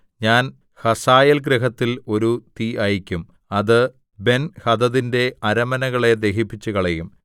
ഞാൻ ഹസായേൽഗൃഹത്തിൽ ഒരു തീ അയയ്ക്കും അത് ബെൻഹദദിന്റെ അരമനകളെ ദഹിപ്പിച്ചുകളയും